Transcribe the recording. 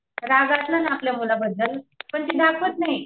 राग असतो आपल्या मुलाबद्दल पण ती दाखवत नाही.